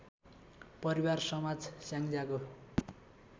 परिवार समाज स्याङ्जाको